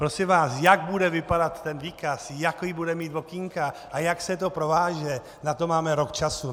Prosím vás, jak bude vypadat ten výkaz, jaká bude mít okénka a jak se to prováže, na to máme rok času.